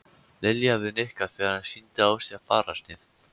Lilja við Nikka þegar hann sýndi á sér fararsnið.